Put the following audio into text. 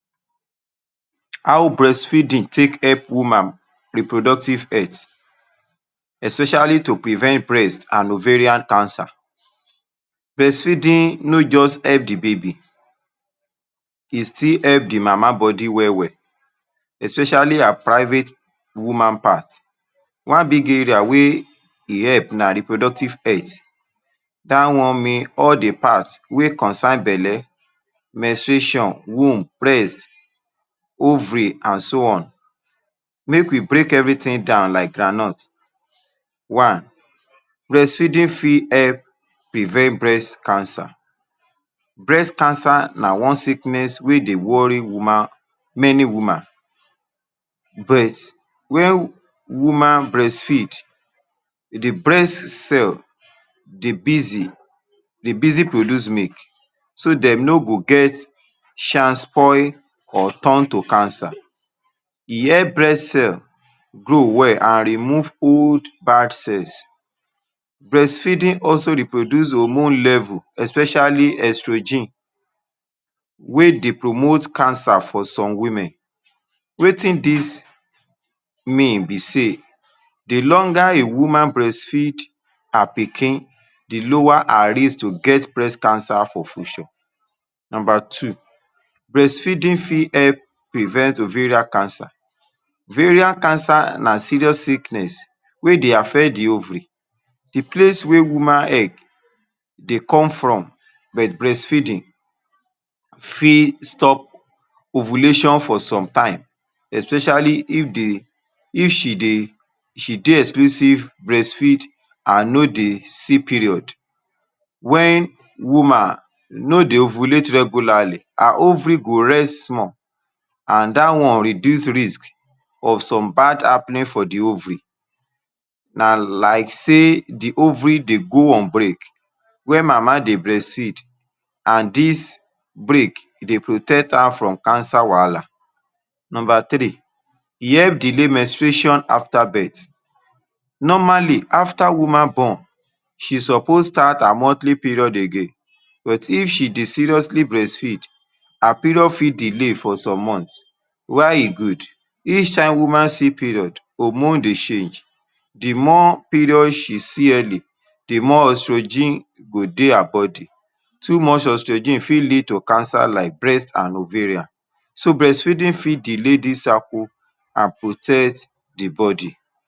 How breastfeeding take help woman reproductive health especially to prevent breast and ovarian cancer breastfeeding no just help de baby e still help de mama body well well especially her private woman part one big area wey e help na reproductive health, that one means all de part wey concern belle menstruation, womb, breast, ovary and so on. make we break everything down like groundnut one breastfeeding fit help prevent breast cancer breast cancer na one sickness wey dey worry many woman breast but when woman breastfeed de breast cell dey busy dey busy produce milk so dem no go get chance spoil or turn to cancer e help breast cell grow well and remove old bad cells breastfeeding also reproduce hormone level especially oestrogens wey dey promote cancer for some women wetin this mean be say de longer a woman breastfeed her pikin, de lower her risk to get breast cancer for future. number two breastfeeding: fit help prevent ovarian cancer ovarian cancer na serious sickness wey dey affect de ovary de place wey woman egg, dey come from but breastfeeding fit stop ovulation for some time especially if de if she dey exclusive breastfeed and no dey see period when woman no dey ovulate regularly. her ovary, go rest small and that one reduce risk of some bad happening for de ovary na like sey de ovary dey go on break when mama dey breastfeed and this break e dey protect her from cancer wahala. number three: e help delay menstruation, after birth normally after woman born she suppose start her monthly period again but if she dey seriously breastfeed her period fit delay for some months while e good each time woman see period hormone dey change de more period she see heavy de more oestrogen go dey her body. too much oestrogen fit lead to cancer like breasts and ovarian so breastfeeding fit delay this cycle an protect de body